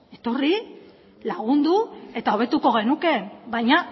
etorri lagundu eta hobetuko genuke baina